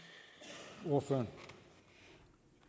mig